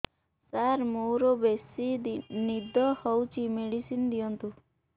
ସାର ମୋରୋ ବେସି ନିଦ ହଉଚି ମେଡିସିନ ଦିଅନ୍ତୁ